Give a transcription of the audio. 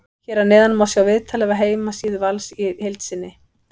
Hér að neðan má sjá viðtalið af heimasíðu Vals í heild sinni.